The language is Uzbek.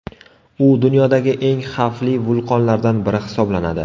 U dunyodagi eng xavfli vulqonlardan biri hisoblanadi.